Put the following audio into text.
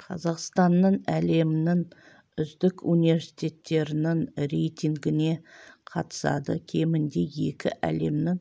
қазақстанның әлемнің үздік университеттерінің рейтингіне қатысады кемінде екі әлемнің